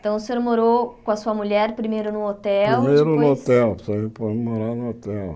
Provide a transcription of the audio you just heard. Então, o senhor morou com a sua mulher, primeiro no hotel, depois... Primeiro no hotel, morar no hotel.